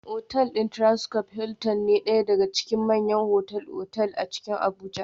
Otal din Transcorp Hilton na daya daga cikin manyan otal-otal a Abuja